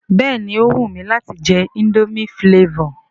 Béèni ó wù mi láti je indomie flavour